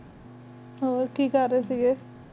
ਹੋਰ ਕੀ ਕਰ ਰਹੀ ਕ